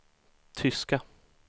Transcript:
tyska